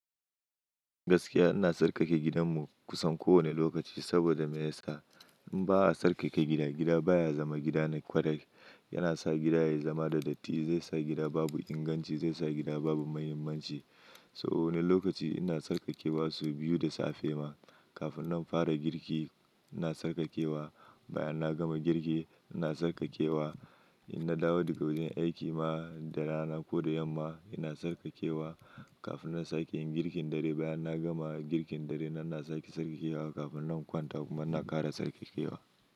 Gaskiya ina tsarkake gidanmu kusan kowane lokaci saboda me yasa in ba a tsarkake gida, gida baya zama gida na kwarai. Yana sa gida ya zama da datti, zai sa gida babu inganci, zai sa gida babu muhimmanci. So wani lokaci ina tsarkakewa sau biyu da safe ma. Kafin na fara girki ina tsarkakewa, bayan na gama girki ina tsarkakewa. In na dawo daga wajen aiki ma da rana ko da yamma ina tsarkakewa. Kafin na sake yin girkin dare, bayan na gama girkin dare nan ina sake tsarkakewa. Kafin na kwanta kuma ina ƙara tsarkakewa.